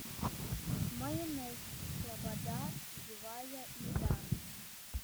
майонез слобода живая еда